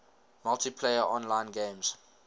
multiplayer online games